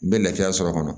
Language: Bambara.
N bɛ lafiya sɔrɔ a kɔnɔ